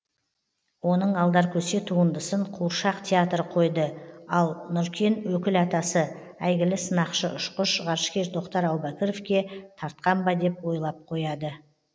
оның алдаркөсе туындысын қуыршақ театры қойды ал нұркен өкіл атасы әйгілі сынақшы ұшқыш ғарышкер тоқтар әубәкіровке тартқан ба деп ойлап қояды